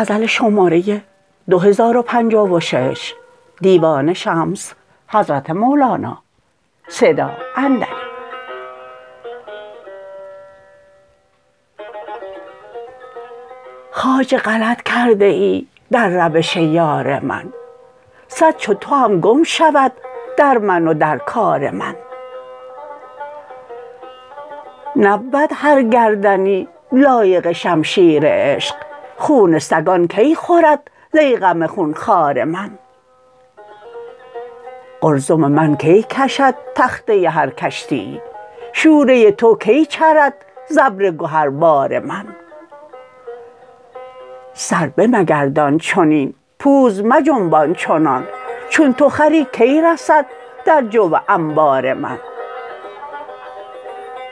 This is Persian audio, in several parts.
خواجه غلط کرده ای در روش یار من صد چو تو هم گم شود در من و در کار من نبود هر گردنی لایق شمشیر عشق خون سگان کی خورد ضیغم خون خوار من قلزم من کی کشد تخته هر کشتیی شوره تو کی چرد ز ابر گهربار من سر بمگردان چنین پوز مجنبان چنان چون تو خری کی رسد در جو انبار من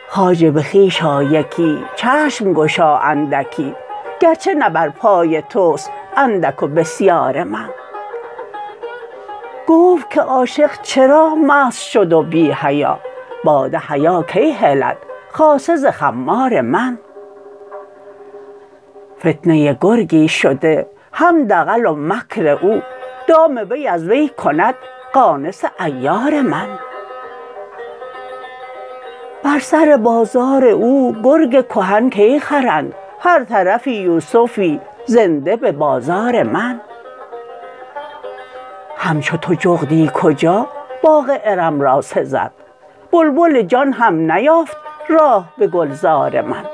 خواجه به خویش آ یکی چشم گشا اندکی گرچه نه بر پای توست اندک و بسیار من گفت که عاشق چرا مست شد و بی حیا باده حیا کی هلد خاصه ز خمار من فتنه گرگی شده هم دغل و مکر او دام وی از وی کند قانص عیار من بر سر بازار او گرگ کهن کی خرند هر طرفی یوسفی زنده به بازار من همچو تو جغدی کجا باغ ارم را سزد بلبل جان هم نیافت راه به گلزار من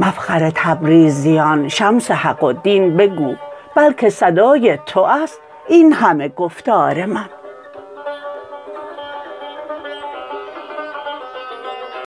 مفخر تبریزیان شمس حق و دین بگو بلک صدای تو است این همه گفتار من